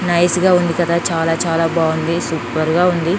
Nice గా ఉంది కదా చాలా చాలా బాగుంది సూపర్ గా ఉంది .